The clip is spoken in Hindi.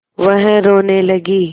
वह रोने लगी